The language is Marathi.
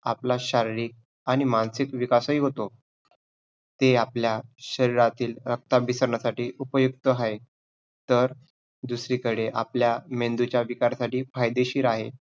आपला शारीरिक आणि मानसिक विकासही होतो, हे आपल्या शरीरातील रक्ताभिसरणासाठी उपयुक्त आहे, तर दुसरीकडे आपल्या मेंदूच्या विकारासाठी फायदेशीर आहे.